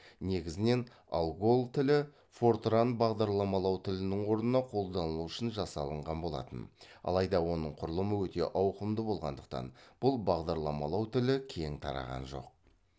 негізінен алгол тілі фортран бағдарламалау тілінің орнына қолданылу үшін жасалынған болатын алайда оның құрылымы өте ауқымды болғандықтан бұл бағдарламалау тілі кең тараған жоқ